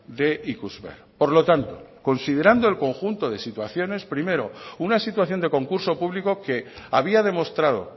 de ikusmer por lo tanto considerando el conjunto de situaciones primero una situación de concurso público que había demostrado